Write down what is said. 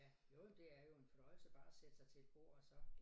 Ja jo jo men det er jo en fornøjelse bare at sætte sig til et bord og så